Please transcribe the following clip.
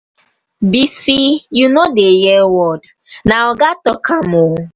bisi you no dey hear word na oga talk am ooo.